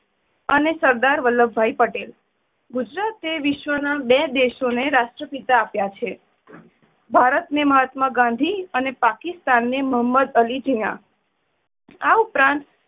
અને સરદાર વલ્લભભાઈ પટેલ. ગુજરાત એ વિશ્વ ના બે દેશો ને રાષ્ટ્રપિતા આપ્યા છે. ભારત ને મહાત્મા ગાંધી અને પાકિસ્તાન ને મહોમદ અલી જીના આ ઉપરાંત